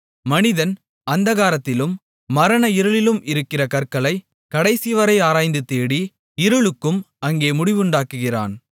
மனிதன் அந்தகாரத்திலும் மரண இருளிலும் இருக்கிற கற்களைக் கடைசிவரை ஆராய்ந்து தேடி இருளுக்கும் அங்கே முடிவுண்டாக்குகிறான்